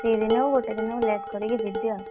ଦି ଦିନ ହଉ ଗୋଟେ ଦିନ ହଉ late କରିକି ଯିବି ଆଉ।